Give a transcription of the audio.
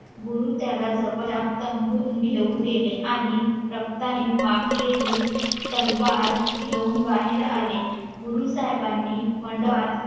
गुरु त्याला जवळच्या घेऊन गेले आणि रक्ताने माखलेली तलवार घेऊन बाहेर आले गुरु साहेबानी मंडपात